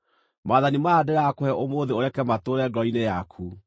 Maathani maya ndĩrakũhe ũmũthĩ ũreke matũũre ngoro-inĩ yaku.